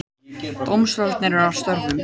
Dómstólarnir eru að störfum